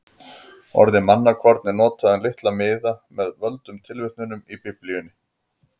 Orðið mannakorn er notað um litla miða með völdum tilvitnunum í Biblíuna.